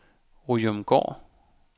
Ryomgård